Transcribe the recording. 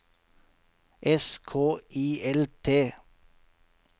S K I L T